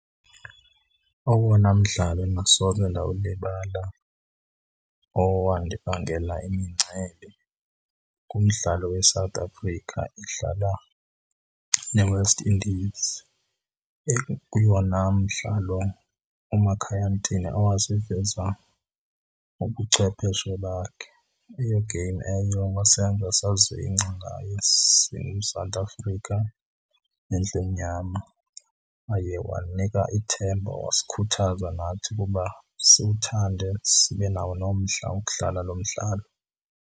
Owona mdlalo endingasoze ndawulibala owandibangela imincili ngumdlalo weSouth Africa idlala neWest Indies. Ekuyona mdlalo uMakhaya Ntini awaziveza ubuchwepheshe bakhe. Eyo game eyo wasenza sazingca ngaye siyiSouth Africa nendlu emnyama. Waye wanika ithemba, wasikhuthaza nathi ukuba siwuthande, sibe nawo nomdla wokudlala lo mdlalo.